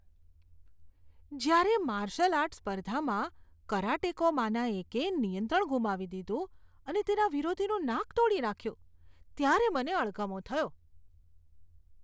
જ્યારે martial art સ્પર્ધામાં કરાટેકોમાંના એકે નિયંત્રણ ગુમાવી દીધું અને તેના વિરોધીનું નાક તોડી નાખ્યું ત્યારે મને અણગમો થયો.